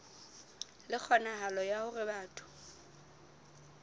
le kgonahalo ya hore batho